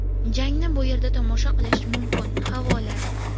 Jangni bu yerda tomosha qilish mumkin havola .